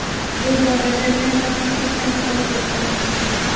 Bu borada men faqat bitta misol keltirmoqchiman.